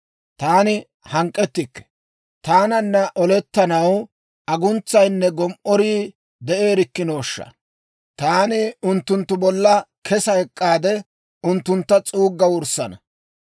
Taani hank'k'ettikke; taananna olettanaw, aguntsayinne gom"orii de'eerikkinooshsha! Taani unttunttu bolla kesa ek'k'aade, unttuntta s'uugga wurssana.